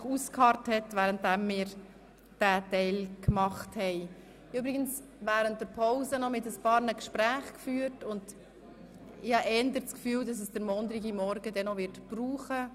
Ich bedanke mich bei Regierungsrat Schnegg, dass er währenddessen ausgeharrt hat.